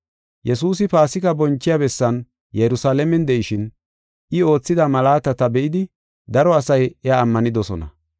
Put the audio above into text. Yesuusi Paasika bonchiya bessan Yerusalaamen de7ishin, I oothida malaatata be7idi daro asay iya ammanidosona.